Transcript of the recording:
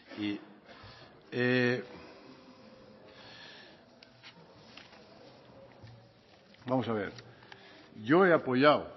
vamos a ver yo he apoyado